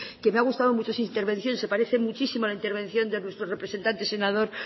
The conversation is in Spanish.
que me ha gustado mucho su intervención se parece muchísimos a la intervención de nuestro representante senador